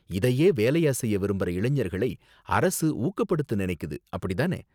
இதையே வேலையா செய்ய விரும்புற இளைஞர்களை அரசு ஊக்கப்படுத்த நினைக்குது, அப்படி தானே?